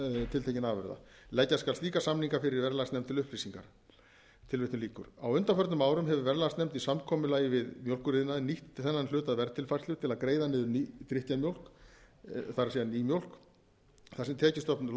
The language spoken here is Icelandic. tiltekinna afurða leggja skal slíka samninga fyrir verðlagsnefnd til upplýsingar á undanförnum árum hefur verðlagsnefnd í samkomulagi við mjólkuriðnaðinn nýtt þennan hluta verðtilfærslu til að greiða niður drykkjarmjólk það er nýmjólk þar sem tekjustofn